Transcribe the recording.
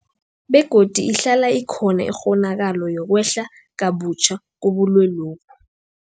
Begodu ihlala ikhona ikghonakalo yokwehla kabutjha kobulwelobu.